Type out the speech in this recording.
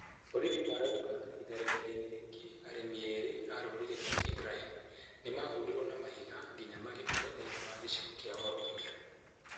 Borithi marauga itharĩkira-inĩ rĩngĩ arĩmi erĩ a rũrĩrĩ rwa Tigrayan nĩmahũrirwo na mahiga nginya magĩkua thĩiniĩ wa gĩcigo kĩa Oromia